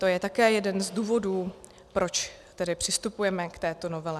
To je také jeden z důvodů, proč tedy přistupujeme k této novele.